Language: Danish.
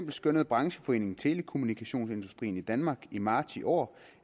skønnede brancheforeningen telekommunikationsindustrien i danmark i marts i år